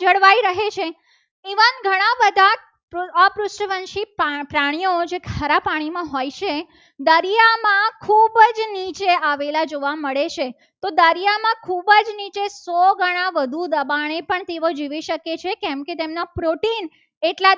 પ્રાણીઓ હોય છે. ખારા પાણીમાં હોય છે. દરિયામાં ખૂબ જ નીચે આવેલા જોવા મળે છે. તો દરિયામાં ખૂબ જ શો ઘણા વધુ દબાણે પણ જીવી શકે છે. કેમકે તેમના protein